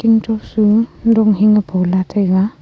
umyok su dung hing ley pula taiga.